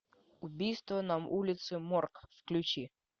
убийство на улице морг включи